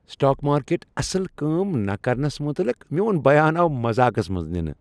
Stock market اصل کٲم نہٕ کرنس متعلق میون بیان آو مزاقس منٛز ننہ۔